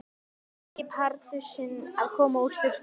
Bleiki Pardusinn að koma úr sturtu!